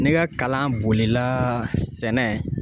Ne ka kalan bolila sɛnɛ